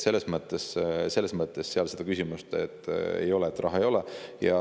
Selles mõttes seda küsimust ei ole, et raha ei ole.